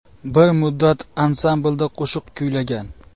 Bir muddat ansamblda qo‘shiq kuylagan.